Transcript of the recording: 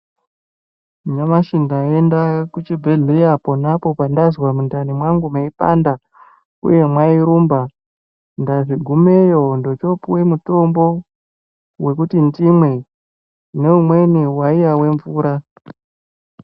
Nyamashi ndaenda kuchibhedhleya ponapo pandazwa mundani mangu meitopanda uye mwairumba, ndagumeyo ndochopuwe mutombo wekuti ndimwe neumweni waiye nemvura.